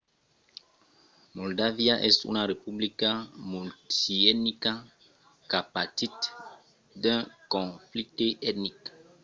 moldàvia es una republica multietnica qu'a patit d'un conflicte etnic